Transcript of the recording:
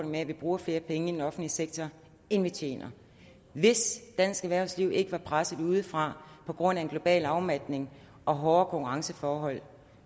med at vi bruger flere penge i den offentlige sektor end vi tjener hvis dansk erhvervsliv ikke var presset udefra på grund af en global afmatning og hårde konkurrenceforhold